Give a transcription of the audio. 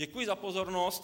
Děkuji za pozornost.